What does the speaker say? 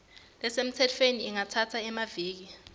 lesemtsetfweni ingatsatsa emaviki